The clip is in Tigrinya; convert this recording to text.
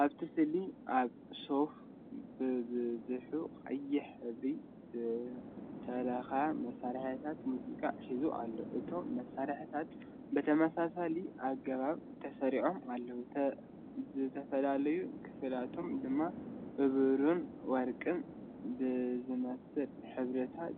ኣብቲ ስእሊ ኣብ ሶፋ ብብዝሒ ቀይሕ ሕብሪ ዝተለኽየ መሳርሒታት ሙዚቃ ሒዙ ይርአ። እቶም መሳርሒታት ብተመሳሳሊ ኣገባብ ተሰሪዖም ኣለዉ፣ ዝተፈላለየ ክፋላቶም ድማ ብብሩርን ወርቅን ብዝመስል ሕብርታት